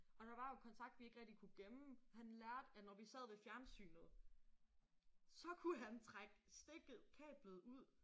Og der var jo kontakt vi ikke rigtig kunne gemme. Han lærte at når vi sad ved fjernsynet så kunne han strække stikket kablet ud